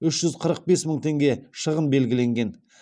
үш жүз қырық бес мың теңге шығын белгіленген